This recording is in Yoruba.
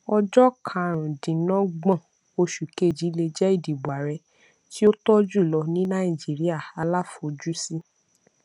ọjọ karùnúndínọgbọn oṣù kejì lè jẹ ìdìbò ààrẹ tí ó tọ jùlọ ní nàìjíríà aláfojúsí